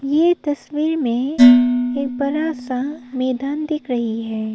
ये तस्वीर में एक बड़ा सा मैदान दिख रही है।